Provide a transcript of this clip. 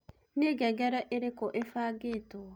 nĩ ngengereĩrĩkũĩbangĩtwo